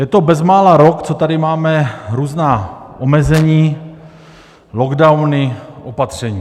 Je to bezmála rok, co tady máme různá omezení, lockdowny, opatření.